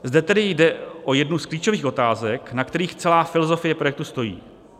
Zde tedy jde o jednu z klíčových otázek, na kterých celá filozofie projektu stojí.